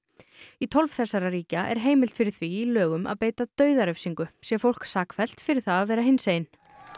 í tólf þessara ríkja er heimild fyrir því í lögum að beita dauðarefsingu sé fólk sakfellt fyrir það að vera hinsegin